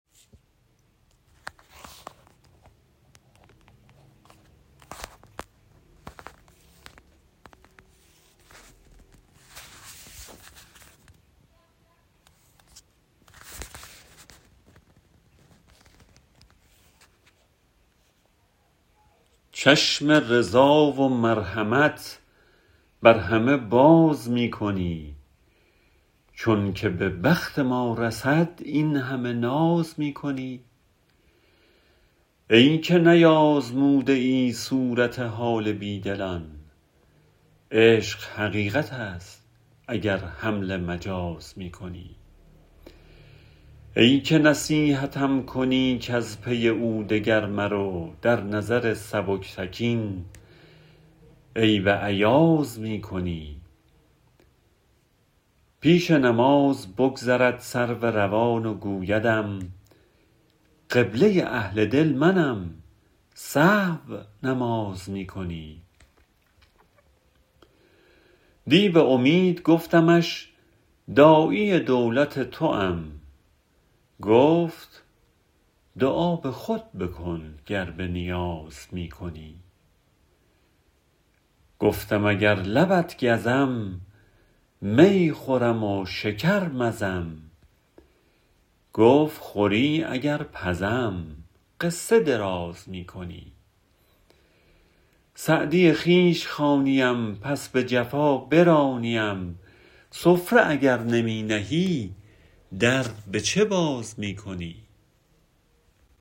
چشم رضا و مرحمت بر همه باز می کنی چون که به بخت ما رسد این همه ناز می کنی ای که نیآزموده ای صورت حال بی دلان عشق حقیقت است اگر حمل مجاز می کنی ای که نصیحتم کنی کز پی او دگر مرو در نظر سبکتکین عیب ایاز می کنی پیش نماز بگذرد سرو روان و گویدم قبله اهل دل منم سهو نماز می کنی دی به امید گفتمش داعی دولت توام گفت دعا به خود بکن گر به نیاز می کنی گفتم اگر لبت گزم می خورم و شکر مزم گفت خوری اگر پزم قصه دراز می کنی سعدی خویش خوانیم پس به جفا برانیم سفره اگر نمی نهی در به چه باز می کنی